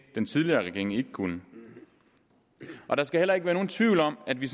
den tidligere regering ikke kunne og der skal heller ikke være nogen tvivl om at vi